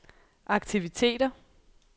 aktiviteter